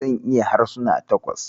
Zan iya yin harsuna takwas.